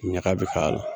Ɲaga bi k'a la